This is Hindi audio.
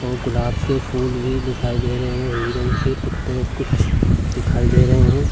और गुलाब के फूल भी दिखाई दे रहे हैं और हिरण के पुत्ते कुछ दिखाई दे रहे हैं।